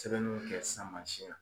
Sɛbɛnniw kɛ sisan mansin na.